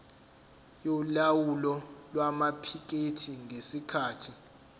yolawulo lwamaphikethi ngesikhathi